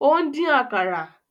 Ó ń dín àkàrà